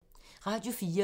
Radio 4